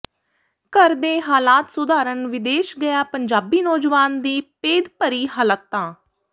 ਘਰ ਦੇ ਹਾਲਾਤ ਸੁਧਾਰਣ ਵਿਦੇਸ਼ ਗਿਆ ਪੰਜਾਬੀ ਨੌਜਵਾਨ ਦੀ ਭੇਦਭਰੀ ਹਲਾਤਾਂ